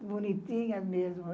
Bonitinha mesmo.